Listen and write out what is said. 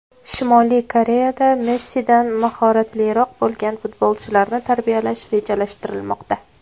Shimoliy Koreyada Messidan mahoratliroq bo‘lgan futbolchilarni tarbiyalash rejalashtirilmoqda.